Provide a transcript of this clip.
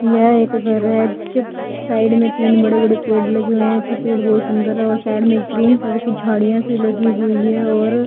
यह एक घर है जिसके साइड में तीन बड़े बड़े पेड़ लगे हुए हैं एक ही पेड़ बहोत सुंदर और साइड में ग्रीन कलर की झाड़ियां से लगी हुई है और--